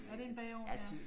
Er det en bageovn ja?